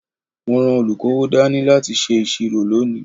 Mo ran olukowo dání láti ṣe ìṣirò lónìí.